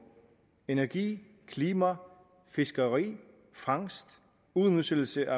energi klima fiskeri fangst udnyttelse